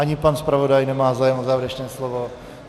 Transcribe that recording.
Ani pan zpravodaj nemá zájem o závěrečné slovo?